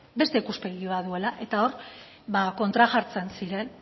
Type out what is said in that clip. beste ikuspegi bat duela eta hor ba kontra jartzen ziren